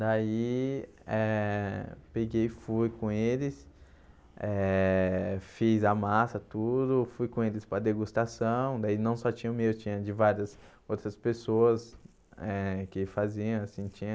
Daí, eh peguei e fui com eles, eh fiz a massa, tudo, fui com eles para degustação, daí não só tinha o meu, tinha de várias outras pessoas eh que faziam, assim, tinha...